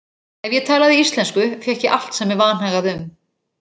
Ef ég talaði íslensku fékk ég allt sem mig vanhagaði um.